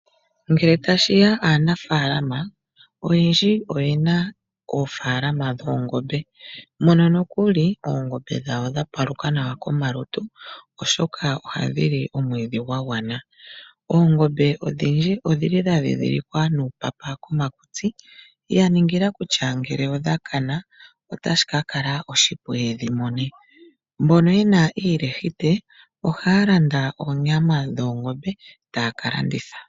Ngele tashiya kaanafalama oyendji oyena oofalama dhoongombe mono nokuli oongombe dhawo dha paluka nawa komalutu oshoka ohadhi li omwidhi gwa gwana. Oongombe odhindji odhili dha ndhidhilikwa nuupapa komakutsi yaningila kutya ngele odha kana otashi ka kala oshipu ye dhimona. Mbono yena iilahite ohaya landa oonyama dhoongombe etaya kalanditha.